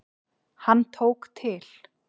Hann tók til.